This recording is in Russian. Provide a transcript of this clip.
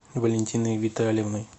валентиной витальевной